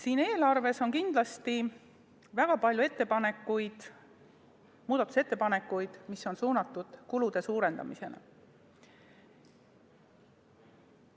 Eelarve kohta on esitatud kindlasti väga palju muudatusettepanekuid, mis on suunatud kulude suurendamisele.